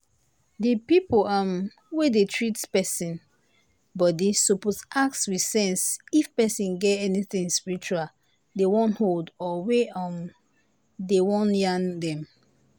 the people um wey dey treat person body suppose ask with sense if person get anything spiritual dey wan hold or wey um dey wan yarn dem.